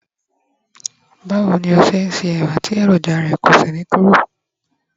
bawo ni o ṣe n se ẹwà ti eroja rẹ ko sí kúrò